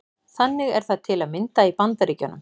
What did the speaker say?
Þannig er það til að mynda í Bandaríkjunum.